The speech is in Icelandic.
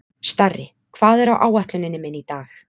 Starri, hvað er á áætluninni minni í dag?